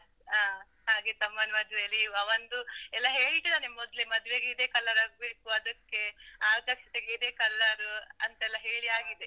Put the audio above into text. ಅಹ್ ಹಾಗೆ ತಮ್ಮನ್ ಮದ್ವೇಲಿ ಅವಂದು ಎಲ್ಲಾ ಹೇಳ್ತಿದನೆ ಮೊದ್ಲೇ, ಮದ್ವೆಗೆ ಇದೇ color ಆಗ್ಬೇಕು, ಅದಕ್ಕೆ, ಆರತಕ್ಷತೆಗೆ ಇದೇ color ಅಂತ ಹೇಳಿಯಾಗಿದೆ.